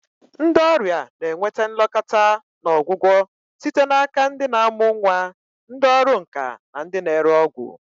Ndị ọrịa na-enweta nlekọta na ọgwụgwọ site n'aka ndị na-amụ nwa, ndị ọrụ nka na ndị na-ere ọgwụ.